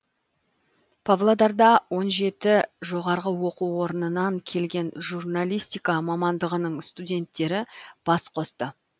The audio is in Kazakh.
павлодарда он жеті жоғарғы оқу орнынан келген журналистика мамандығының студенттері бас қосты